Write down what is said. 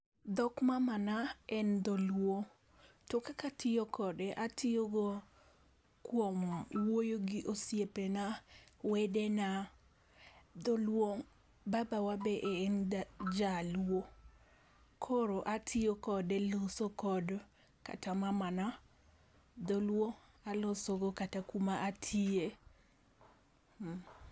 Dhok mamana en dholuo. To kaka atiyo kode atiyo go kuom wuoyo gi osiepena, wedena, dholuo, babawa be en jaluo. Koro atiyo kode loso kod kata mamana, dholuo alosogo kata kuma atiye